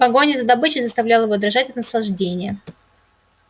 погоня за добычей заставляла его дрожать от наслаждения